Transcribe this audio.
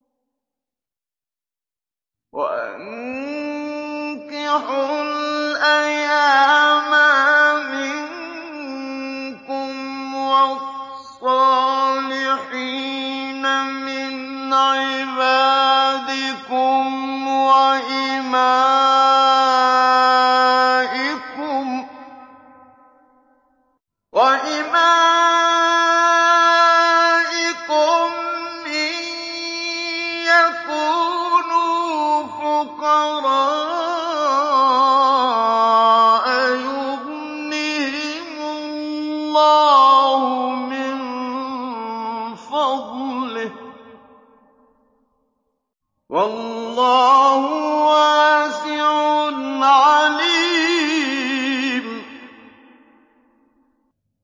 وَأَنكِحُوا الْأَيَامَىٰ مِنكُمْ وَالصَّالِحِينَ مِنْ عِبَادِكُمْ وَإِمَائِكُمْ ۚ إِن يَكُونُوا فُقَرَاءَ يُغْنِهِمُ اللَّهُ مِن فَضْلِهِ ۗ وَاللَّهُ وَاسِعٌ عَلِيمٌ